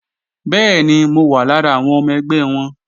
Bẹ́ẹ̀ni, mo wà lára àwọn ọmọ ẹgbẹ́ wọn